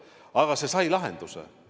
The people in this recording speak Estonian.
Aga see sai lahenduse.